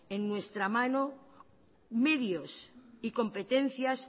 en nuestra mano medios y competencias